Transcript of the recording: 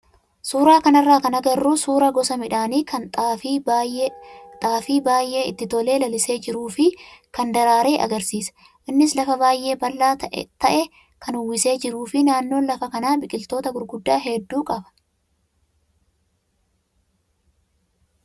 Suuraa kanarraa kan agarru suuraa gosa midhaanii kan ta'e xaafii baay'ee itti tolee lalisee jiruu fi kan daraare agarsiisa. Innis lafa baay'ee bal'aa ta'e kan uwwisee jiruu fi naannoon lafa kanaa biqiloota gurguddaa hedduu qaba.